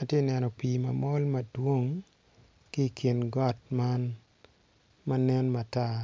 Atye neno pi mamol madwong ki kingot man manen matar